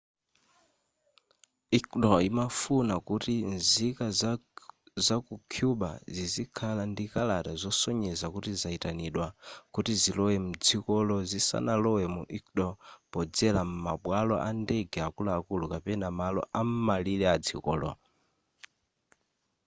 ecuador imafuna kuti nzika zaku cuba zizikhala ndi kalata zosonyeza kuti zayitanidwa kuti zilowe mdzikolo zisanalowe mu ecuador podzera m'mabwalo andege akuluakulu kapena malo am'malire adzikolo